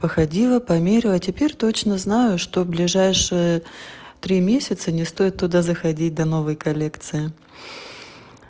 выходила померила теперь точно знаю что в ближайшие три месяца не стоит туда заходить до новой коллекции